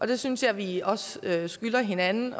det synes jeg vi også skylder hinanden